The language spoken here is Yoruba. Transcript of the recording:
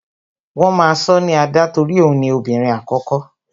Wọn máa sọ ní Ada torí òun ni obìnrin àkókó